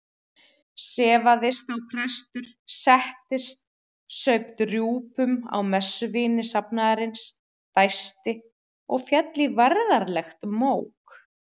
Sefaðist þá prestur, settist, saup drjúgum á messuvíni safnaðarins, dæsti og féll í værðarlegt mók.